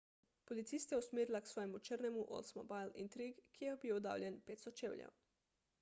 policiste je usmerila k svojemu črnemu oldsmobile intrigue ki je bil oddaljen 500 čevljev